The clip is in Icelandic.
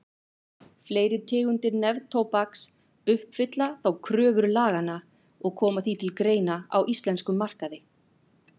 Fleiri tegundir neftóbaks uppfylla þó kröfur laganna og koma því til greina á íslenskum markaði.